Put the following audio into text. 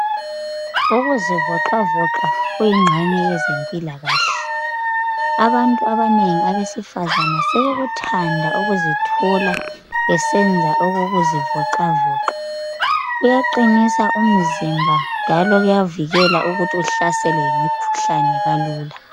Ukuzivocavoca kuyigxenye yezempilakahle abantu besifazana sebekuthanda ukuzithola besenza okokuzivoca voca kuyaqinisa imzimba njalo kuyavikela ukuthi uhlaselwe yimikhuhlane kalula